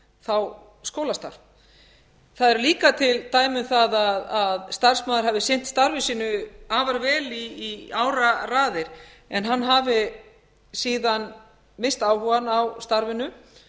þá skólastarf það eru líka til dæmi um það að starfsmaður hafi sinnt starfi sínu afar vel í áraraðir en hann hafi síðan misst áhugann á starfinu